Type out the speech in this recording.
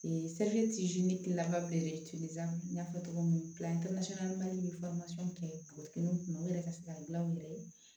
n y'a fɔ cogo min ni kɛ n kun yɛrɛ ka se ka n gilan u yɛrɛ ye